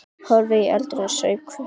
Horfði í eldinn og saup hveljur.